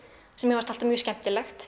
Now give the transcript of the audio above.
sem mér fannst alltaf mjög skemmtilegt